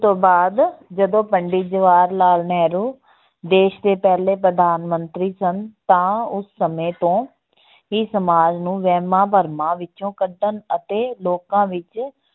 ਬਾਅਦ ਜਦੋਂ ਪੰਡਿਤ ਜਵਾਹਰ ਲਾਲ ਨਹਿਰੂ ਦੇਸ ਦੇ ਪਹਿਲੇ ਪ੍ਰਧਾਨ ਮੰਤਰੀ ਸਨ ਤਾਂ ਉਸ ਸਮੇਂ ਤੋਂ ਇਹ ਸਮਾਜ ਨੂੰ ਵਹਿਮਾਂ-ਭਰਮਾਂ ਵਿੱਚੋਂ ਕੱਢਣ ਅਤੇ ਲੋਕਾਂ ਵਿੱਚ